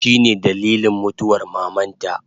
Shine dalilin mutuwar mamanta